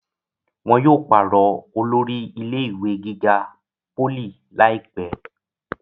wọn yóò pàrọ̀ olórí ilé ìwé gíga pólì láìpẹ́